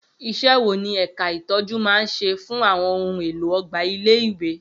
Iṣẹ́ wo ni ẹ̀ka ìtọ́jú máa ń ṣe fún àwọn ohun èlò ọgbà ilé-ìwé?